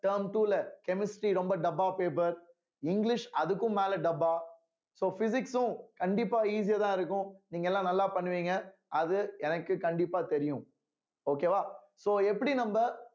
term two ல chemistry ரொம்ப டப்பா paper இங்கிலிஷ்அதுக்கும் மேல டப்பா so physics உம் கண்டிப்பா easy யாதான் இருக்கும் நீங்க எல்லாம் நல்லா பண்ணுவீங்க அது எனக்கு கண்டிப்பா தெரியும் okay வா so எப்படி நம்ம